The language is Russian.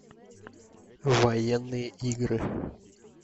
военные игры